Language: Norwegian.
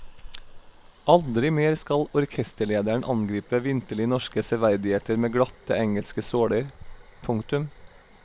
Aldri mer skal orkesterlederen angripe vinterlig norske severdigheter med glatte engelske såler. punktum